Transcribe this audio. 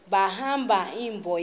balahla imbo yabo